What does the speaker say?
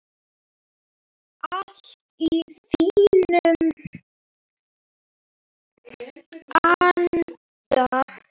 Allt í þínum anda.